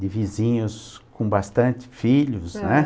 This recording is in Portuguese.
de vizinhos com bastante filhos, né?